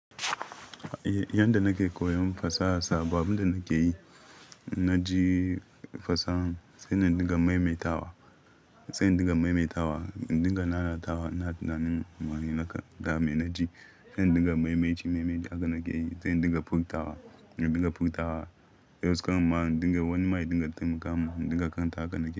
Yanda nake koyon fasaha sabanin da nake yi, na ji fasaha sai na dinga maimaitawa, sai na dinga maimaitawa, dinga nanatawa. Na tunanin ma'ana naka, dame na ji sai na dinga maimaici, maimaici akana ke yi sai na dinga furtawa, dinga furtawa. Yaushe kam ma'ana dinga wani ma'ana dinga taimakawa, dinga kanta akana ke yi.